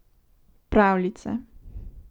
Pravljice.